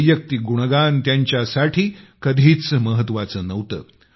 वैयक्तिक गुणगान त्यांच्यासाठी कधीच महत्त्वाचे नव्हते